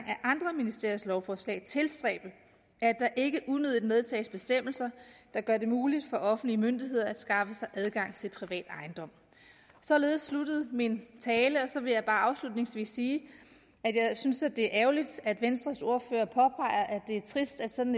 af andre ministeriers lovforslag tilstræbe at der ikke unødigt medtages bestemmelser der gør det muligt for offentlige myndigheder at skaffe sig adgang til privat ejendom således sluttede min tale og så vil jeg bare afslutningsvis sige at jeg da synes at det er ærgerligt at venstres ordfører påpeger at det er trist at sådan